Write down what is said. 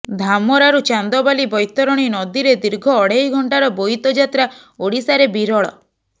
ଧାମରାରୁ ଚାନ୍ଦବାଲି ବୈତରଣୀ ନଦୀରେ ଦୀର୍ଘ ଅଢେଇ ଘଣ୍ଟାର ବୋଇତ ଯାତ୍ରା ଓଡ଼ିଶାରେ ବିରଳ